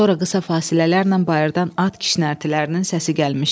Sonra qısa fasilələrlə bayırdan at kişnərtilərinin səsi gəlmişdi.